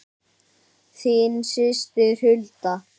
Þín systir Hulda.